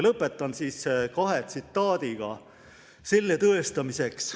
Lõpetan kahe tsitaadiga selle tõestamiseks.